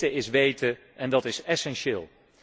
Meten is weten en dat is essentieel.